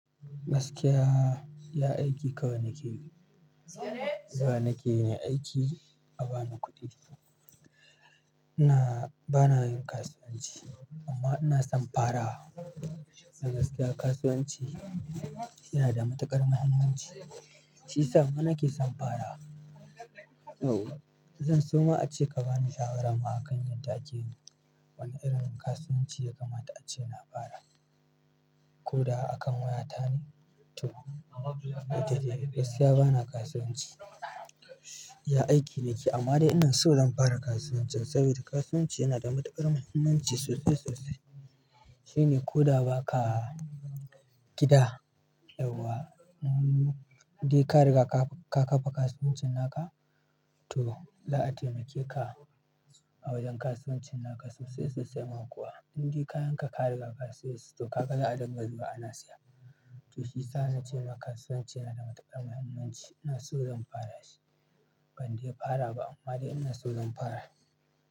Gaskiya, iya aiki kawai na keyi, zuwana ke yi aiki a ba ni kuɗi. Ina-- bana yin kasuwanci amma ina son fara. Dan gaskiya kasuwanci yana da matuƙar muhimmanci, shi yasa ma na ke son farawa. Zan so ma'ace ka bani shawara ma a kan yadda ake yi. Wane irin kasuwanci ya kamata ace na fara? Ko da a kan waya ta ne? To. Yanzu gaskiya bana kasuwanci, iya aiki ni ke amma dai ina so zan fara kasuwanci saboda kasuwanci yana da matuƙar muhimmanci sosai sosai. Shi ne ko da ba ka gida yauwa, in dai kariga ka ƙafa kasuwancin naka to, za'a taimakeka awajen kasuwancin naka sosai sosai ma kuwa. Indai kayan ka ka riƙa kasayas to ka ga za a dinga zuwa ana siya. To shi yasa na ce maka kasuwanci yana da matuƙar muhimmanci. Ina so zan fara shi, ban dai fara ba amma dai ina so zan fara.